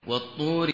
وَالطُّورِ